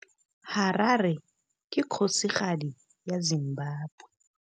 Harare ke kgosigadi ya Zimbabwe.